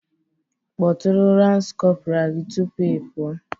Kpọtụrụ lance corporal gị tupu ị pụọ